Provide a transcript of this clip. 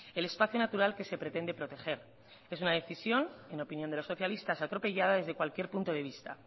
el espacio natural que se pretende proteger en una decisión en opinión de los socialistas atropellada desde cualquier punto de vista